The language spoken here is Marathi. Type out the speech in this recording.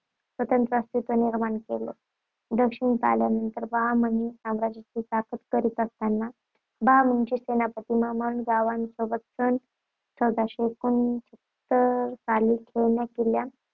स्वतंत्र अस्तित्व निर्माण केले. दक्षिणेत आल्यानंतर बहामनी साम्राज्यात चाकरी करीत असताना बहामनीचा सेनापती महंमद गावाणसोबत सन चौदाशे एकोणसत्तर साली खेळणा किल्ला